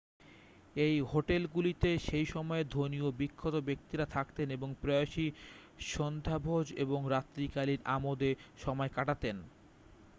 এই হোটেলগুলিতে সেই সময়ের ধনী ও বিখ্যাত ব্যক্তিরা থাকতেন এবং প্রায়শই সান্ধ্যভোজ এবং রাত্রিকালীন আমোদে সময় কাটাতেন